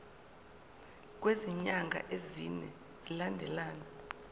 kwezinyanga ezine zilandelana